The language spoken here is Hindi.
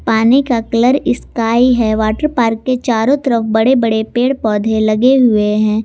पानी का कलर स्काई है वाटर पार्क के चारों तरफ बड़े बड़े पेड़ पौधे लगे हुए हैं।